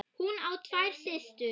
Hún á tvær systur.